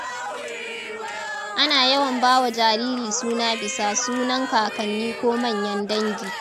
Ana yawan ba wa jariri suna bisa sunan kakanni ko manyan dangi.